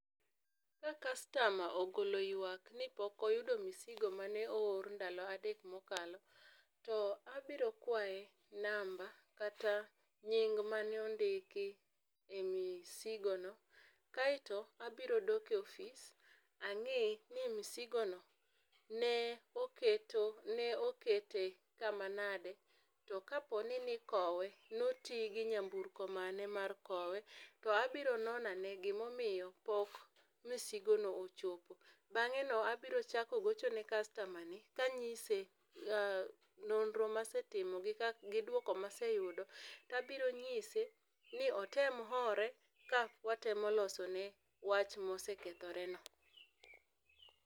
Ka kastama ogolo ywak ni pok oyudo misigo mane oor ndalo adek ma okalo, to abiro kwaye namba kata nying ma ne ondiki e msigo no, aito abiro dok e ofis ang'i ni msigo no ne oketo ne okete ka ma nadi to ka po ni ni okowe no ti gi nyamburko mane ma ne okowe. To abiro nono ane gi ma omiyo pok msigo no ochopo, bang'e no abiro chako gocho ne kastama ni ka ang'ise nonro ma asetimo gi dwoko ma aseyudo, to abiro ng'ise ni otem ore ka watemo loso ne wach ma osekethore no.